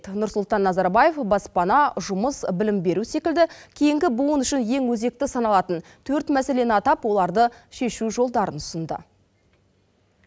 нұрсұлтан назарбаев баспана жұмыс білім беру секілді кейінгі буын үшін ең өзекті саналатын төрт мәселені атап оларды шешу жолдарын ұсынды